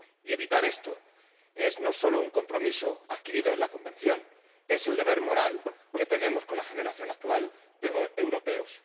Y evitar esto no solo es un compromiso adquirido en la Convención, es el deber moral que tenemos con la generación actual de europeos.